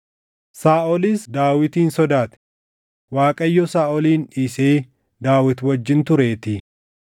Saaʼolis Daawitin sodaate; Waaqayyo Saaʼolin dhiisee Daawit wajjin tureetii.